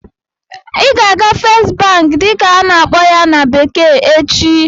Ị ga-aga "First Bank" dịka a na-akpọ ya na bekee echi!